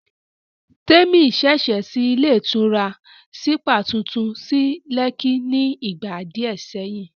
Témi ṣẹ̀ṣẹ̀ ṣí ilé ìtura sípà tuntun sí Lẹ́kí ni ìgbà díẹ̀ sẹ́yìn